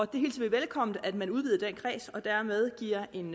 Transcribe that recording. det hilser vi velkomment at man udvider den kreds og dermed giver en